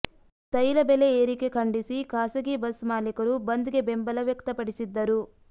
ತೈಲ ಬೆಲೆ ಏರಿಕೆ ಖಂಡಿಸಿ ಖಾಸಗಿ ಬಸ್ ಮಾಲೀಕರು ಬಂದ್ಗೆ ಬೆಂಬಲ ವ್ಯಕ್ತಪಡಿಸಿದ್ದರು